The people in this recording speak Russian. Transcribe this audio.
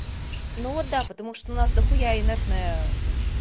ну да потому что у нас дохуя инертная